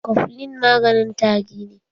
Koflin maganin tari ne